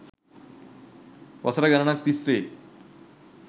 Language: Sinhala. වසර ගණනක් තිස්සේ